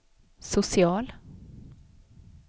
social